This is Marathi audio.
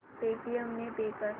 पेटीएम ने पे कर